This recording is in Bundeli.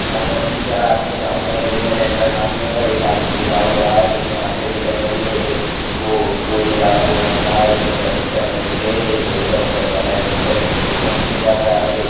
यहाँ पर तीन चार आदमी काम कर रहे हैं लेंथर डालने का एक आदमी झुका हुआ है एक ने हाफ चड्डी पहनी हुई है एक बो बोरी वाला वो रख रहा है एक लिफ्ट ऊपर नीचे कर रहा है।